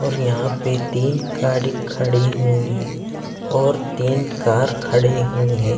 और यहां पे तीन गाड़ी खड़ी हुई हैं और तीन कार खड़ी हुई हैं।